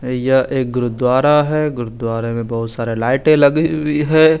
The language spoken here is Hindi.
या एक गुरु दुआरा है गुरु दुआरे में बहोत सारे लाइटे लगी हुई है।